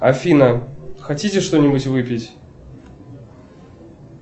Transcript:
афина хотите что нибудь выпить